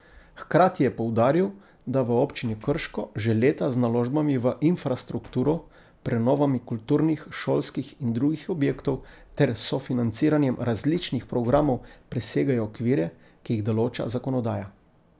Hkrati je poudaril, da v Občini Krško že leta z naložbami v infrastrukturo, prenovami kulturnih, šolskih in drugih objektov ter sofinanciranjem različnih programov presegajo okvire, ki jih določa zakonodaja.